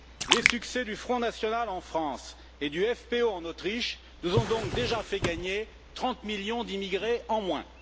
Les succès du Front national en France et du FPÖ en Autriche nous ont donc déjà fait gagner 30 millions d'immigrés en moins.